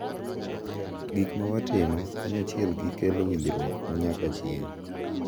Gik ma watimo kanyachielgi kelo winjruok ma nyaka chieng’.